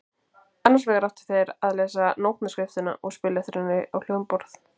Annars vegar áttu þeir að lesa nótnaskriftina og spila eftir henni á hljómborð.